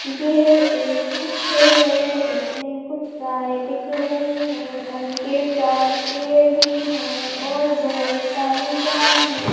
ये एक चित्र है इसमें कुछ गाय दिख रही हैं उनके चार पैर भी हैं और बहुत सारी गाय है।